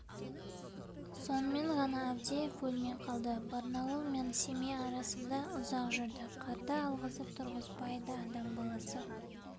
сонымен ғана авдеев өлмей қалды барнауыл мен семей арасында ұзақ жүрдік қарды алғызып тұрғызбайды адам баласы